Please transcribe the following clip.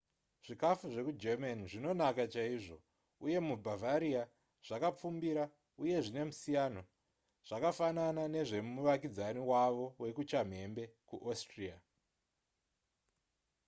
zvikafu zvekugerman zvinonaka chaizvo uye mubavaria zvakapfumbira uye zvine musiyan zvakafanana nezvemuvakidzani wavo wekuchamhembe kuaustria